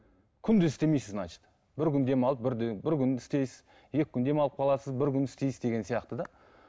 күнде істемейсіз значит бір күн демалып бір бір күн істейсіз екі күн демалып қаласыз бір күн істейсіз деген сияқты да